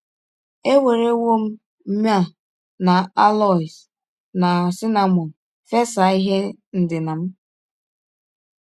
Ewerewọ m myrrh na aloes na cinnamọn fesa ihe ndina m. ”